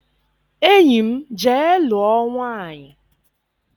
Enyi m, jee lụọ nwaanyị!